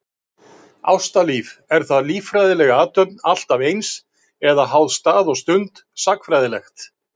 Ástalíf, er það líffræðileg athöfn alltaf eins, eða háð stað og stund, sagnfræðilegt?